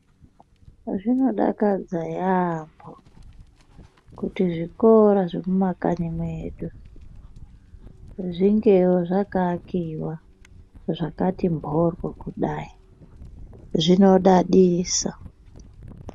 Zvinodakadza yamho ,kuti zvikora zvemumakanyi mwedu, zvingewo zvakaakiwa zvakati mhoryo kudayi, zvinodadisa.